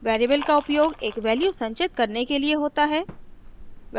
variable का उपयोग एक वैल्यू संचित करने के लिए होता है